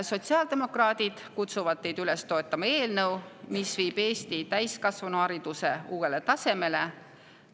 Sotsiaaldemokraadid kutsuvad teid üles toetama eelnõu, mis viib Eesti täiskasvanuhariduse uuele tasemele.